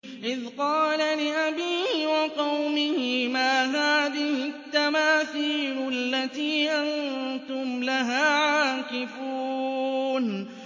إِذْ قَالَ لِأَبِيهِ وَقَوْمِهِ مَا هَٰذِهِ التَّمَاثِيلُ الَّتِي أَنتُمْ لَهَا عَاكِفُونَ